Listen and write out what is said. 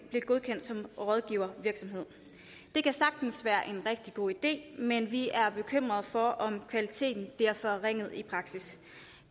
godkendt som rådgivningsvirksomhed det kan sagtens være en rigtig god idé men vi er bekymrede for om kvaliteten bliver forringet i praksis